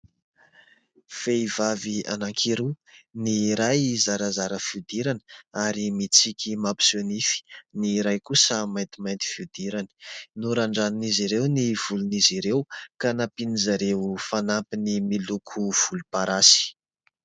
Vehivavy anankiroa, ny iray zarazara fihodirana ary mitsiky mampiseho nify, ny iray kosa maintimainty fihodirana. Norandran'izy ireo ny volon'izy ireo ka nampian'izareo fanampiny miloko volomparasy.